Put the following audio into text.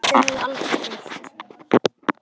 Þau höfðu aldrei deilt.